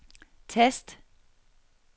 tast